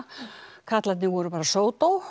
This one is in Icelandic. karlarnir voru bara